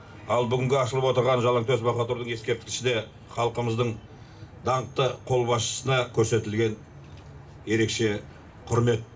ал бүгінгі ашылып отырған жалаңтөс баһадүрдің ескерткіші де халқымыздың даңқты қолбасшысына көрсетілген ерекше құрмет